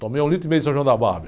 Tomei um litro e meio de São João da.